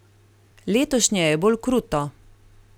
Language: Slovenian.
Letošnje je bolj kruto.